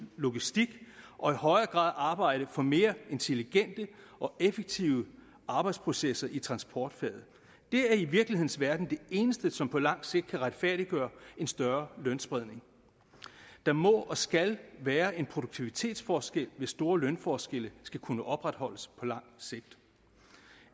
logistik og i højere grad arbejde for mere intelligente og effektive arbejdsprocesser i transportfaget det er i virkelighedens verden det eneste som på lang sigt kan retfærdiggøre en større spredning der må og skal være en produktivitetsforskel hvis store lønforskelle skal kunne opretholdes på lang sigt